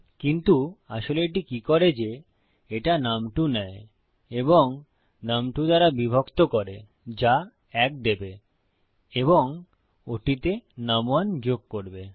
কিন্তু আসলে এটি কি করে যে এটা নুম2 নেয় এবং নুম2 দ্বারা বিভক্ত করে যা ১ দেবে এবং ওটিতে নুম1 যোগ করবে